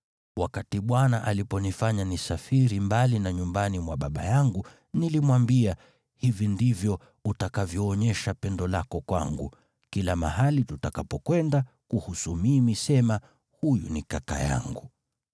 Wakati Bwana aliponifanya nisafiri mbali na nyumbani mwa baba yangu, nilimwambia, ‘Hivi ndivyo utakavyoonyesha pendo lako kwangu: Kila mahali tutakapokwenda, kuhusu mimi sema, “Huyu ni kaka yangu.” ’”